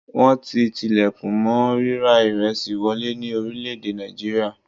Wọ́n ti tilẹ̀kùn mọ́ ríra ìresì wọlé ní orílẹ̀-èdè nàìjíríà.